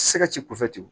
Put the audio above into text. Se ka ci kɔfɛti